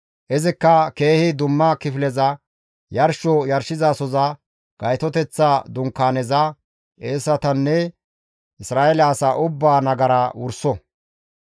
Izikka keehi dumma kifileza, yarsho yarshizasoza, Gaytoteththa Dunkaaneza; qeesetanne Isra7eele asaa ubbaa nagara wurso.